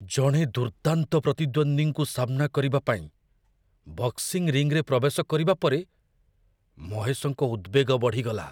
ଜଣେ ଦୁର୍ଦ୍ଦାନ୍ତ ପ୍ରତିଦ୍ୱନ୍ଦ୍ୱୀଙ୍କୁ ସାମ୍ନା କରିବା ପାଇଁ ବକ୍ସିଙ୍ଗ୍ ରିଙ୍ଗରେ ପ୍ରବେଶ କରିବା ପରେ ମହେଶଙ୍କ ଉଦ୍ୱେଗ ବଢ଼ିଗଲା।